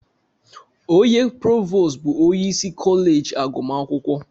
Onye provos bụ onye isi kọleji agụmakwụkwọ.